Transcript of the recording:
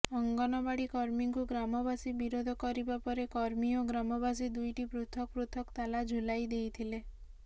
ଅଙ୍ଗନବାଡ଼ି କର୍ମୀଙ୍କୁ ଗ୍ରାମବାସୀ ବିରୋଧ କରିବା ପରେ କର୍ମୀ ଓ ଗ୍ରାମବାସୀ ଦୁଇଟି ପୃଥକ ପୃଥକ ତାଲା ଝୁଲାଇଦେଇଥିଲେ